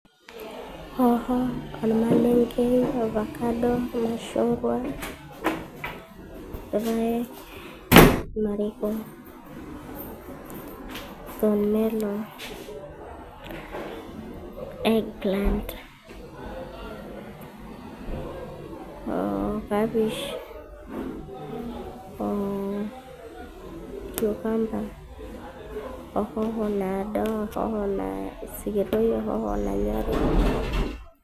Hoho ,ormalenke ,ovacado ,irmashungwa, irpaek o apples , thorn melon ,egg plant oo kapish oo cucumber ,ohoho naado ,ohoho sikitoi ,